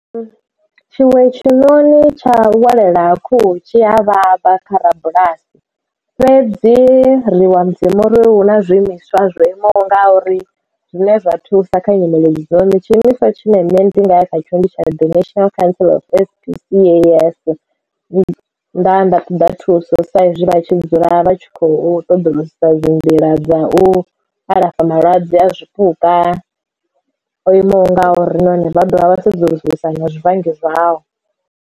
Tshiwe tshinoni tsha u welela ha khuhu tshi a vhavha kha rabulasi fhedzi ri livhuwa mudzimu uri hu na zwiimiswa zwo imaho nga uri zwine zwa thusa kha nyimele idzo tshi imiswa tshine nṋe ndi nga ya kha tshone ndi tsha ndaya nda ṱoḓa thuso saizwi vha tshi dzula vha tshi khou ṱoḓa u sa dzi nḓila dza u alafha malwadze a zwipuka o imaho ngauri na hone vha dovha vha sedzulusa na zwivhangi zwao.